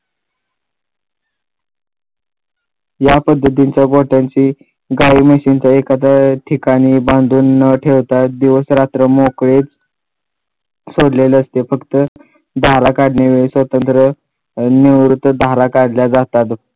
या पद्धतीच्या गोठ्याचे गाई म्हशींच्या एखाद्या ठिकाणी बांधून ठेवताच दिवस रात्र मोकळेच सोडलेले असते फक्त धारा काढणे स्वतंत्र निवृत्त धारा काढल्या जातात.